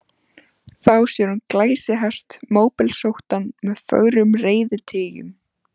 Þá sér hún glæsihest, móblesóttan með fögrum reiðtygjum.